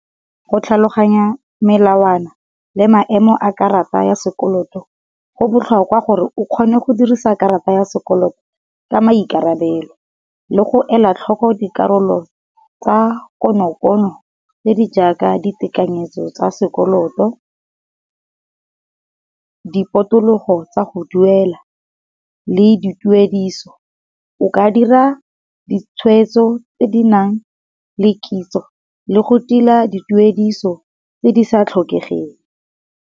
Go tlhaloganya melawana le maemo a karata ya sekoloto go botlhokwa gore o kgone go dirisa karata ya sekoloto ka maikarabelo, le go ela tlhoko di karolo tsa konokono tse di jaaka di tekanyetso tsa sekoloto. Di potologo tsa go duela, le di tuediso o ka dira di tshwetso tse di nang le kitso le go tila di tuediso tse di sa tlhokegeng.